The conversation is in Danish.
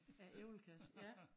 Æ æblekasse ja